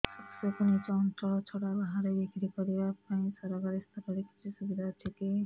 ଶସ୍ୟକୁ ନିଜ ଅଞ୍ଚଳ ଛଡା ବାହାରେ ବିକ୍ରି କରିବା ପାଇଁ ସରକାରୀ ସ୍ତରରେ କିଛି ସୁବିଧା ଅଛି କି